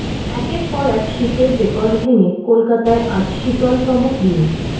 একের পর এক শীতের রেকর্ড ভেঙে কলকাতায় আজ শীতলতম দিন